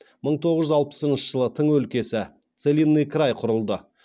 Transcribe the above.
мың тоғыз жүз алпысыншы жылы тың өлкесі құрылды